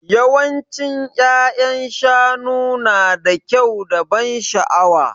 Yawancin ya'yan shanu nada kyau da ban sha'awa.